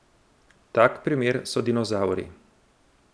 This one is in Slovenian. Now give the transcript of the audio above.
Tak primer so dinozavri.